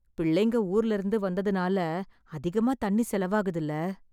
பிள்ளைங்க ஊர்லருந்து வந்ததுனால அதிகமா தண்ணி செலவாகுதுல்ல...